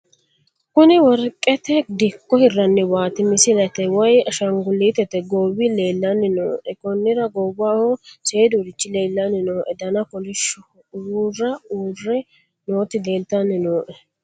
kuni worqete dikko hirranniwaati misilete woy ashshangulete goowi leelanni nooe konnira goowaho sedurichi leelannni nooe dana kolishshoho uura uure nooti leltanni nooe